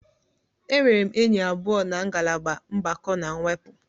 Enwere m enyi abụọ na ngalaba mgbakọ na mwepụ.